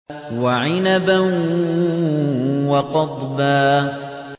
وَعِنَبًا وَقَضْبًا